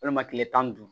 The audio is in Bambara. Walima kile tan ni duuru